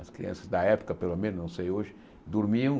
As crianças da época, pelo menos, não sei hoje, dormiam.